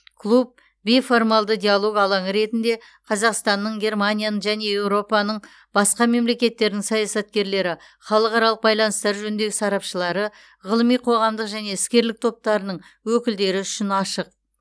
клуб бейформалды диалог алаңы ретінде қазақстанның германияның және еуропаның басқа мемлекеттерінің саясаткерлері халықаралық байланыстар жөніндегі сарапшылары ғылыми қоғамдық және іскерлік топтарының өкілдері үшін ашық